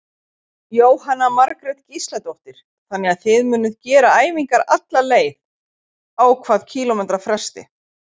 Jóhanna Margrét Gísladóttir: Þannig að þið munuð gera æfingar alla leið, á hvað kílómetra fresti?